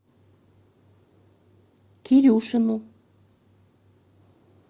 кирюшину